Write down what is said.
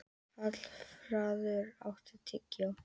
Hallfreður, áttu tyggjó?